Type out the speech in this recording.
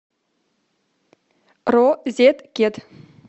розеткед